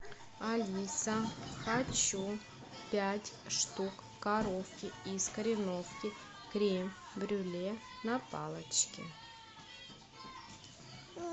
алиса хочу пять штук коровки из кореновки крем брюле на палочке